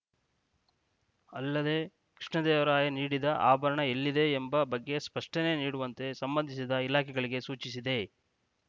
ಅಲ್ಲದೆ ಕೃಷ್ಣದೇವರಾಯ ನೀಡಿದ ಆಭರಣ ಎಲ್ಲಿದೆ ಎಂಬ ಬಗ್ಗೆ ಸ್ಪಷ್ಟನೆ ನೀಡುವಂತೆ ಸಂಬಂಧಿಸಿದ ಇಲಾಖೆಗಳಿಗೆ ಸೂಚಿಸಿದೆ